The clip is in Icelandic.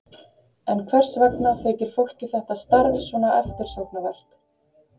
En hvers vegna þykir fólki þetta starf svona eftirsóknarvert?